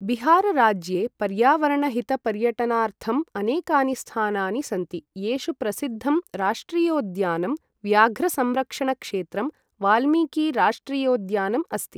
बिहार राज्ये पर्यावरणहितपर्यटनार्थम् अनेकानि स्थानानि सन्ति, येषु प्रसिद्धं राष्ट्रियोद्यानं व्याघ्रसंरक्षणक्षेत्रं वाल्मीकिराष्ट्रियोद्यानम् अस्ति।